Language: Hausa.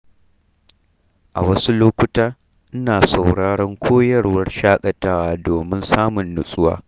A wasu lokuta, ina sauraron koyarwar shaƙatawa domin samun nutsuwa